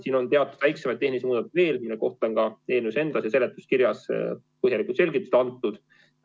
Siin on teatud väiksemaid tehnilisi muudatusi veel, mille kohta on eelnõus endas ja seletuskirjas põhjalikud selgitused antud.